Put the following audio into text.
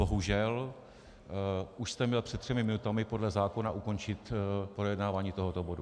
Bohužel už jste měl před třemi minutami podle zákona ukončit projednávání tohoto bodu.